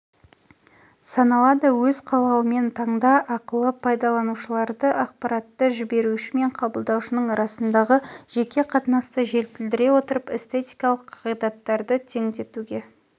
аналады өз қалауымен таңда ақылы пайдаланшылаы ақпаатты жібеші мен қабылдаушының аасындағы жеке қатынасты жетілдіе отыып эстетикалық қағидаттарды тееңдете